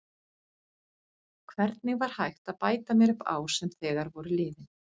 Hvernig var hægt að bæta mér upp ár sem þegar voru liðin?